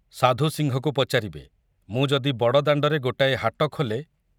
ସାଧୁ ସିଂହକୁ ପଚାରିବେ, ମୁଁ ଯଦି ବଡ଼ଦାଣ୍ଡରେ ଗୋଟାଏ ହାଟ ଖୋଲେ